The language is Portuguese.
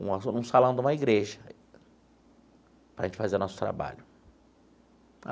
um salão de uma igreja, para a gente fazer nosso trabalho.